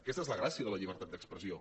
aquesta és la gràcia de la llibertat d’expressió